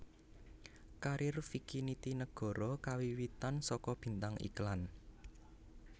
Karir Vicky Nitinegoro kawiwitan saka bintang iklan